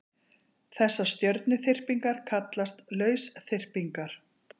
Þessar stjörnuþyrpingar kallast lausþyrpingar.